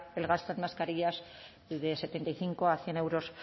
el gasto en mascarillas de setenta y cinco a cien euros